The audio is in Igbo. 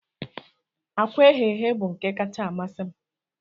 Akwa eghee eghe bụ nke kacka amasị m